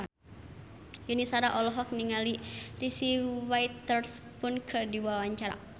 Yuni Shara olohok ningali Reese Witherspoon keur diwawancara